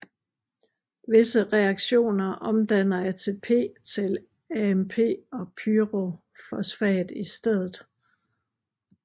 Visse reaktioner omdanner ATP til AMP og pyrofosfat i stedet